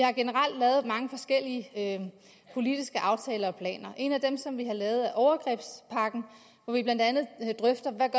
har generelt lavet mange forskellige politiske aftaler og planer en af dem som vi har lavet er overgrebspakken hvor vi blandt andet drøfter hvad